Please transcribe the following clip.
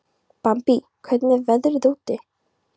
Bambi, hvernig er veðrið úti?